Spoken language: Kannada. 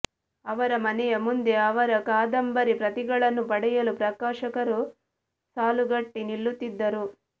ಅವರ ಮನೆಯ ಮುಂದೆ ಅವರ ಕಾದಂಬರಿ ಪ್ರತಿಗಳನ್ನು ಪಡೆಯಲು ಪ್ರಕಾಶಕರು ಸಾಲುಗಟ್ಟಿ ನಿಲ್ಲುತ್ತಿದ್ದರು